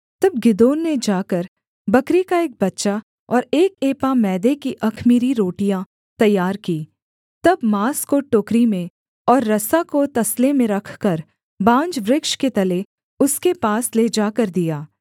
तब गिदोन ने जाकर बकरी का एक बच्चा और एक एपा मैदे की अख़मीरी रोटियाँ तैयार कीं तब माँस को टोकरी में और रसा को तसले में रखकर बांज वृक्ष के तले उसके पास ले जाकर दिया